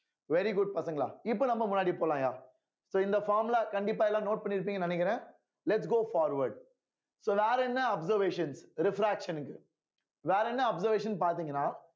very good பசங்களா இப்ப நம்ம முன்னாடி போலாம்யா so இந்த formula ல கண்டிப்பா எல்லாம் note பண்ணியிருப்பீங்கன்னு நினைக்கிறேன் lets go forward so வேற என்ன observations refraction க்கு வேற என்ன observation பாத்தீங்கன்னா